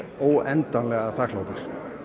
óendanlega þakklátur